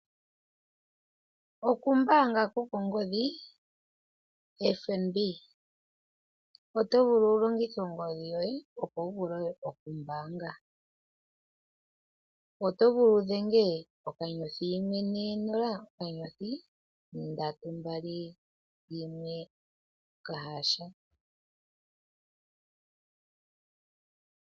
Okumbaanga ko kongodhi koFNB oto vulu oku longitha ongodhi yoye opo wu vule oku mbaanga. Oto vulu wu dhenge *140*321# .